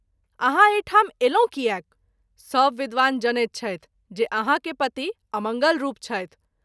आहाँ एहि ठाम एलहुँ कियाक ? सभ विद्वान जानैत छथि जे आहाँ के पति अमंगलरूप छथि।